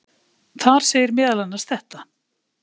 Þar segir meðal annars þetta: